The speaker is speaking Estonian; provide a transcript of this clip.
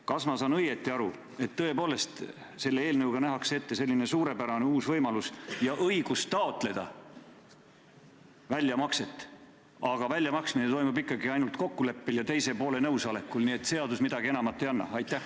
Kas ma saan õigesti aru, et selle eelnõuga nähakse tõepoolest ette selline suurepärane uus võimalus ja õigus taotleda väljamakset, aga väljamaksmine toimub ikkagi ainult kokkuleppel ja teise poole nõusolekul, nii et seadus midagi enamat ei anna?